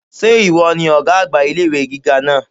Sé ìwo ni ògá àgbà ilé ìwé gíga náà?